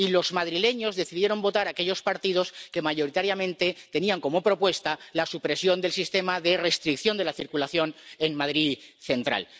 Y los madrileños decidieron votar a aquellos partidos que mayoritariamente tenían como propuesta la supresión del sistema de restricción de la circulación en Madrid Central.